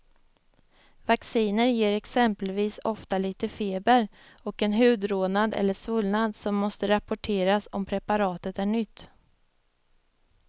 Vacciner ger exempelvis ofta lite feber och en hudrodnad eller svullnad som måste rapporteras om preparatet är nytt.